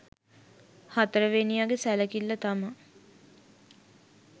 හතරවෙනියගෙ සැලකිල්ල තමා